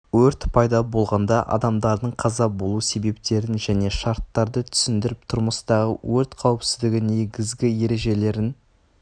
өрт пайда болғанда адамдардың қаза болу себептерін және шарттарды түсіндіріп тұрмыстағы өрт қауіпсіздігі негізгі ережелерін